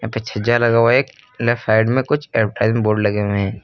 पीछे छज्जा लगा हुआ है एक लेफ्ट साइड में कुछ बोर्ड लगे हुए हैं।